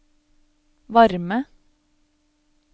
varme